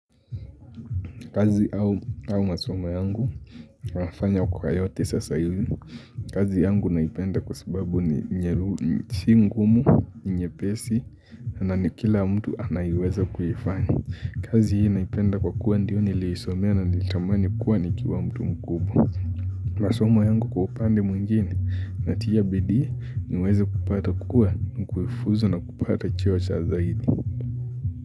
Kazi au masomo yangu, nafanya kwa yote sasa hivi. Kazi yangu naipenda kwa sababu si ngumu, ni nyepesi, na ni kila mtu anaweza kuifanya. Kazi hii naipenda kwa kuwa ndiyo niliisomea na nilitamani kuwa ni kiwa mtu mkubwa. Masomo yangu kwa upande mwingine, natia bidii niweze kupata kukua, na kufuzu na kupata cheo cha zaidi.